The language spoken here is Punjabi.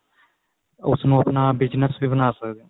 ਉਸ ਨੂੰ ਆਪਣਾ business ਵੀ ਬਣਾ ਸਕਦੇ ਓ